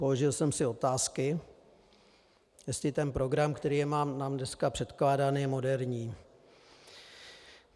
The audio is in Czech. Položil jsem si otázky, jestli ten program, který je nám dneska předkládán, je moderní.